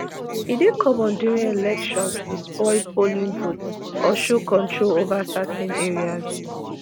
e dey common during elections to spoil polling booths or show control over certain areas.